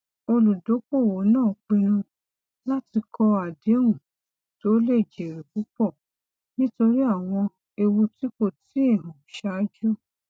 olùdokoowo náà pinnu láti kọ adehun tó lè jèrè púpọ nítorí àwọn ewu tí kò tíì hàn ṣáájú